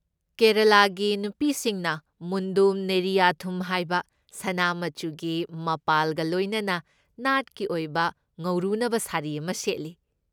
ꯀꯦꯔꯦꯂꯥꯒꯤ ꯅꯨꯄꯤꯁꯤꯡꯅ ꯃꯨꯟꯗꯝ ꯅꯦꯔꯤꯌꯥꯊꯨꯝ ꯍꯥꯏꯕ, ꯁꯅꯥ ꯃꯆꯨꯒꯤ ꯃꯄꯥꯜꯒ ꯂꯣꯏꯅꯅ ꯅꯥꯠꯀꯤ ꯑꯣꯏꯕ ꯉꯧꯔꯨꯅꯕ ꯁꯥꯔꯤ ꯑꯃ ꯁꯦꯠꯂꯤ꯫